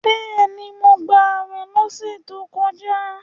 Bẹ́ẹ̀ni, mo gbàwè lọ́sẹ̀ tó kọjá